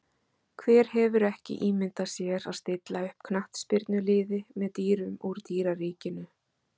Hver hefur ekki ímyndað sér að stilla upp knattspyrnuliði með dýrum úr dýraríkinu?